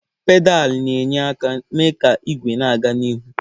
Pedalụ na-enye aka mee ka igwe na-aga n'ihu.